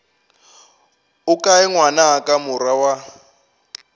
o kae ngwanaka morwa wa